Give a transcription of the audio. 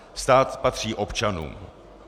Stát patří občanům.